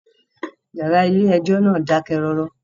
Ìyàrá ilé ẹjọ́ náà dákẹ́ rọ́rọ́.